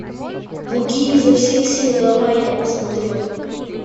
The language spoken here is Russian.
буги изо всех сил давай я посмотрю